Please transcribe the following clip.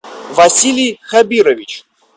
василий хабирович